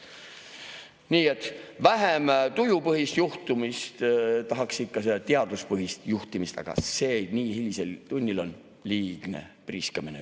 Nii et vähem tujupõhist juhtimist, tahaks ikka teaduspõhist juhtimist, aga see nii hilisel tunnil on juba liigne priiskamine.